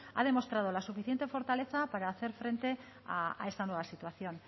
ha demostrado la suficiente fortaleza para hacer frente a esta nueva situación